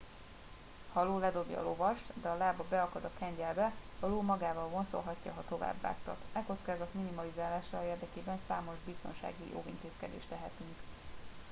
ha a ló ledobja a lovast de a lába beakad a kengyelbe a ló magával vonszolhatja ha továbbvágtat e kockázat minimalizálása érdekében számos biztonsági óvintézkedést tehetünk